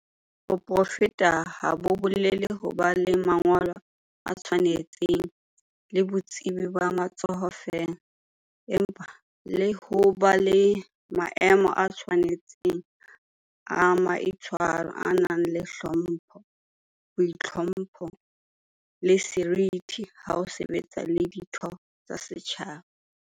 Boprofeshenale ha bo bolele ho ba le mangolo a tshwanetseng le botsebi ba matsoho feela, empa le ho ba le maemo a tshwane tseng a maitshwaro a nang le hlompho, boitlhompho, le seriti ha o sebetsa le ditho tsa setjhaba.